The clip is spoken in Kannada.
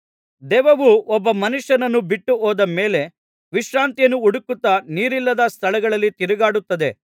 ದೆವ್ವವು ಒಬ್ಬ ಮನುಷ್ಯನನ್ನು ಬಿಟ್ಟು ಹೋದ ಮೇಲೆ ವಿಶ್ರಾಂತಿಯನ್ನು ಹುಡುಕುತ್ತಾ ನೀರಿಲ್ಲದ ಸ್ಥಳಗಳಲ್ಲಿ ತಿರುಗಾಡುತ್ತದೆ